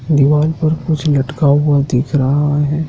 दीवाल पर कुछ लटका हुआ दिख रहा हैं।